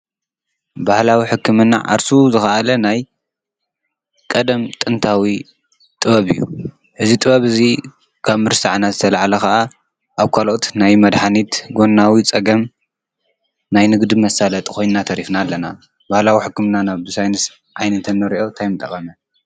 ባህላዊ ሕክምና ዓርሱ ዝኽኣለ ናይ ቐደም ጥንታዊ ጥበብ እዩ። እዚ ጥበብ እዙይ ካብ ምርሳዕናት ዝተለዓለ ኸዓ ኣብ ካልኦት ናይ መድኃኒት ጐናዊ ጸገም ናይ ንግድ መሳለጢ ኾይንና ተሪፍና ኣለና። ባህላዊ ሕክምና ናብ ብሳይንስ ዓይኒ እንተነርዮ ታይ ምጠቐመ?